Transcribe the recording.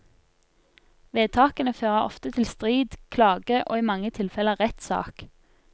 Vedtakene fører ofte til strid, klage, og i mange tilfeller rettssak.